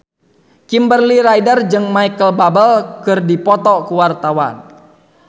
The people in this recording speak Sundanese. Kimberly Ryder jeung Micheal Bubble keur dipoto ku wartawan